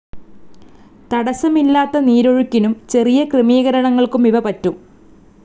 തടസ്സമില്ലാത്ത നീരൊഴുക്കിനും ചെറിയ ക്രമീകരണങ്ങൾക്കുമിവ പറ്റും.